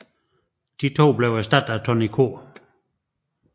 De to blev erstattet af Tonny K